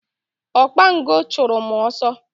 Okpango chụrụ m ọsọ.